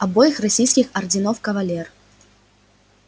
обоих российских орденов кавалер